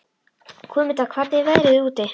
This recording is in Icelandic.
Guðmunda, hvernig er veðrið úti?